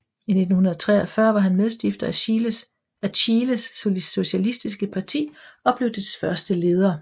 I 1933 var han medstifter af Chiles Socialistiske Parti og blev dets første leder